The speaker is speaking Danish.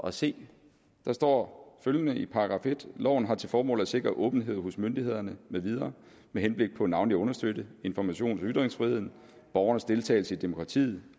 at se der står følgende i § 1 loven har til formål at sikre åbenhed hos myndighederne med videre med henblik på navnlig at understøtte informations og ytringsfriheden borgernes deltagelse i demokratiet